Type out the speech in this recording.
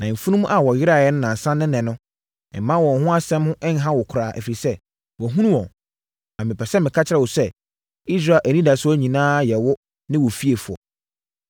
Na mfunumu a wɔyeraeɛ nnansa ne ɛnnɛ no, mma wɔn ho asɛm nha wo koraa, ɛfiri sɛ, wɔahunu wɔn. Na mepɛ sɛ meka kyerɛ wo sɛ, Israel anidasoɔ nyinaa yɛ wo ne wo fiefoɔ.”